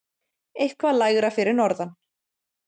Eitthvað lægra fyrir norðan.